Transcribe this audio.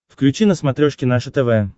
включи на смотрешке наше тв